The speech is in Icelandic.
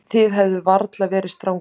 Þið hefðuð varla verið strangari.